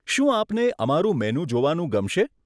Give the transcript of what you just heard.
શું આપને અમારું મેનુ જોવાનું ગમશે?